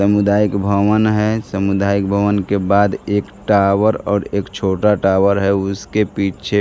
समुदायिक भवन है समुदायिक भवन के बाद एक टावर और एक छोटा टावर है उसके पीछे --